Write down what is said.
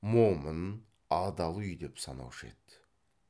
момын адал үй деп санаушы еді